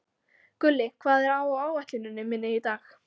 Gulli, hvað er á áætluninni minni í dag?